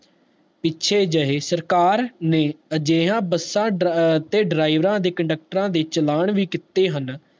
ਪਿੱਛੇ ਜਿਹੇ ਸਰਕਾਰ ਨੇ ਅਜਿਹਾ ਬਸਾ ਤੇ ਡ੍ਰਾਇਵਰਾਂ ਤੇ conductor ਵੀ ਕੀਤੇ ਹਨ